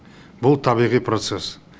бұл табиғи процесс